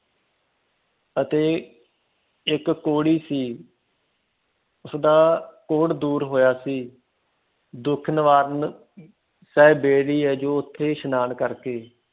ਅਤੇ ਇੱਕ ਕੋਹੜੀ ਸੀ ਉਸਦਾ ਕੋਹੜ ਦੂਰ ਹੋਇਆ ਸੀ ਦੁਖਨਿਵਾਰਨ ਸਾਹਿਬ ਬੇਰੀ ਹੈ ਓ ਓਥੇ ਇਸ਼ਨਾਨ ਕਰਕੇ